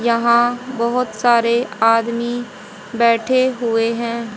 यहां बहोत सारे आदमी बैठे हुए हैं।